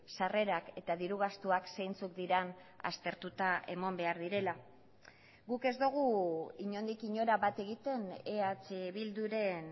sarrerak eta diru gastuak zeintzuk diren aztertuta eman behar direla guk ez dugu inondik inora bat egiten eh bilduren